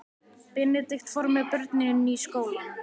Benedikt fór með börnin í skólann.